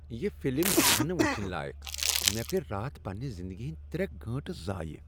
یہ فلم چھنہٕ وچھنۍ لایق مےٚ کٔرۍ راتھ پننہ زندگی ہٕندۍ ترے گٲنٛٹہٕ ضایہِ